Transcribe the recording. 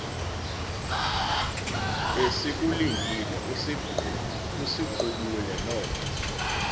besikulindile usiqubule noko